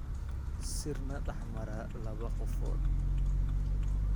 Sir na dhexmara laba qofood.